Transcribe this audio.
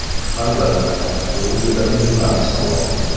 Albatta, bu juda mujmal savol.